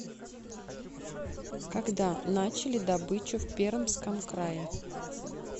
когда начали добычу в пермском крае